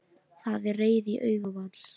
Það er reiði í augum hans.